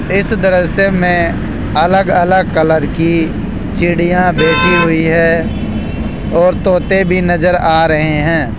इस दृश्य से में अलग-अलग कलर की चिड़िया बैठी हुई है और तोते भी नजर आ रहे हैं।